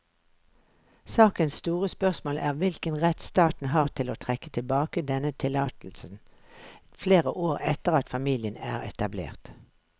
Sakens store spørsmål er hvilken rett staten har til å trekke tilbake denne tillatelsen flere år etter at familien er etablert.